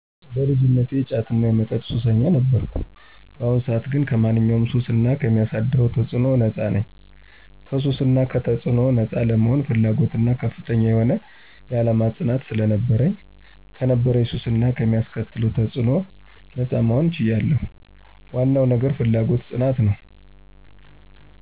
በልጅነቴ የጫትና የመጠጥ ሱሰኛ ነበርኩ። በአሁኑ ሰዓት ግን ከማንኛውም ሱስ እና ከሚያሳደረው ተፅዕኖ ነጻ ነኝ። ከሱስ እና ከተጽዕኖው ነጻ ለመሆን ፍላጎትና ከፍተኛ የሆነ የዓላማ ፅናት ስለነበረኝ ከነበረብኝ ሱስ እና ከሚያስከትለው ተፅዕኖ ነጻ መሆን ችያለው። ዋነው ነገር ፍላጎትና ፅናት ነው።